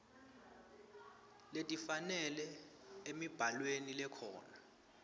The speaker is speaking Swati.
letifanele emibhalweni lekhona